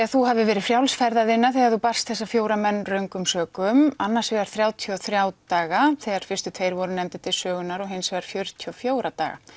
að þú hafir verið frjáls ferða þinna þegar þú barst þessa fjóra menn röngum sökum annars vegar þrjátíu og þriggja daga þegar fyrstu tveir voru nefndir til sögunnar og hins vegar fjörutíu og fjögurra daga